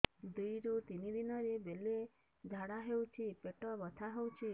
ଦୁଇରୁ ତିନି ଦିନରେ ବେଳେ ଝାଡ଼ା ହେଉଛି ପେଟ ବଥା ହେଉଛି